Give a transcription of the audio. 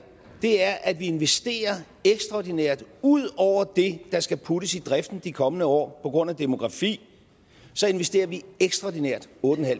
er at vi investerer ekstraordinært ud over det der skal puttes i driften de kommende år på grund af demografi investerer vi ekstraordinært otte